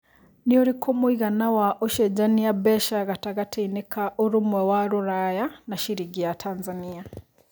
nĩ ũrikũ mũigana wa ũcenjanĩa mbeca gatagatĩinĩ ka ũrũmwe wa rũraya na ciringi ya Tanzania